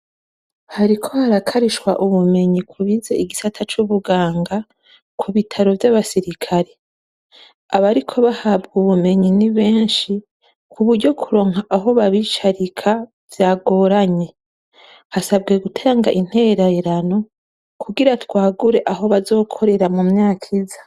Hariko harakarishwa ubumenyi kubize igisata c'ubuganga ku bitaro vyaba sirikare abariko bahabwa ubumenyi nibeshi kuburyo kuronka aho babicarika vyagoranye hasabwe gutanga intererano kugira bagure aho bazokorera mu myaka iza.